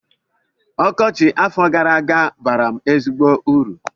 Ọkọchị afọ gara aga baara m ezigbo uru